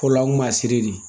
O la n kun b'a siri de